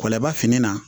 Kɔlaba fini na